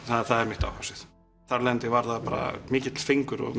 það er mitt áhugasvið þar af leiðandi var það mikill fengur og